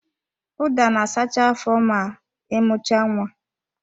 Ụda na-asacha afọ ma ị mucha nwa